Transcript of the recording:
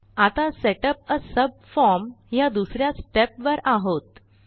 आता सेटअप आ सबफॉर्म ह्या दुस या स्टेपवर आहोत